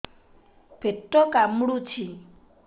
ପେଟ କାମୁଡୁଛି